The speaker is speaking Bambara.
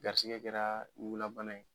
Garisigɛ kɛraa ɲugunna bana ye